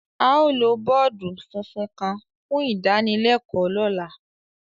Ao lo bọọdu funfun kan fun idanilẹkọ lọla.